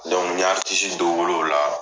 Dɔnku n y'a aritisi dɔ wel'ola